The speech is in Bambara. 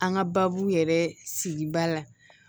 An ka baabu yɛrɛ sigida la